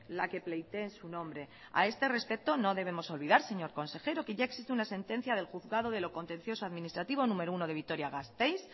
la que pleitee en su nombre a este respecto no debemos olvidar señor consejero que ya existe una sentencia del juzgado de lo contencioso administrativo número uno de vitoria gasteiz